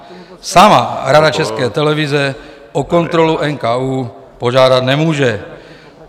Sama Rada České televize o kontrolu NKÚ požádat nemůže.